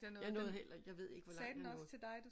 Jeg nåede heller ikke jeg ved ikke hvor langt jeg nåede